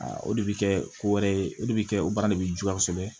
o de bɛ kɛ ko wɛrɛ ye o de bɛ kɛ o baara de bɛ juguya kosɛbɛ